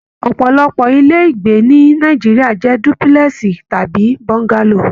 Ọpọlọpọ ilé ìgbé ni Nàìjíríà jẹ dúpúlẹ́sì tàbí bọ́ngálò